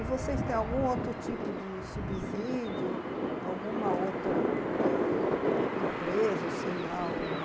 E vocês têm algum outro tipo de subsídio, alguma outra empresa, ou sei lá, uma...